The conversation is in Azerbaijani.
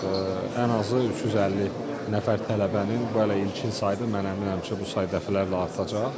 Ən azı 350 nəfər tələbənin bu hələ ilkin saydır, mən əminəm ki, bu say dəfələrlə artacaq.